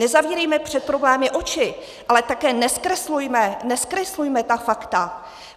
Nezavírejme před problémy oči, ale také nezkreslujme - nezkreslujme! - ta fakta.